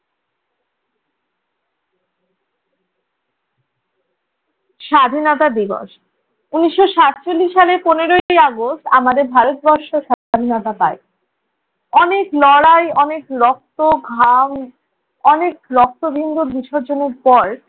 স্বাধীনতা দিবস! উনিশ সাতচল্লিশ সালে পনেরোই আগস্ট আমাদের ভারতবর্ষ স্বাধীনতা পায়। অনেক লড়াই, অনেক রক্ত, ঘাম, অনেক রক্তবিন্দু বিসর্জনের পর